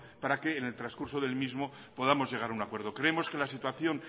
para que en el transcurso del mismo podamos llegar a un acuerdo creemos que la situación